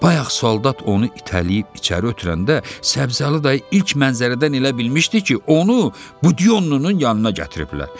Bayaq soldat onu itələyib içəri ötürəndə Səbzəli dayı ilk mənzərədən elə bilmişdi ki, onu Budyonlunun yanına gətiriblər.